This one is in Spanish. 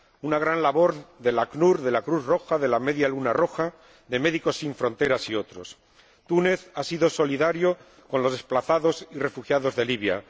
Una gran labor del ACNUR, de la Cruz Roja, de la Media Luna Roja, de Médicos sin Fronteras, y otros. Túnez ha sido solidario con los desplazados y refugiados de Libia.